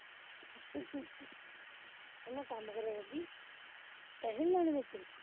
ਮੈਂ ਕੰਮ ਕਰੇ ਕਰਦੀ ਪੈਸੇ ਨੀ ਲੈਣੇ ਮੇਰੇ ਤੇ।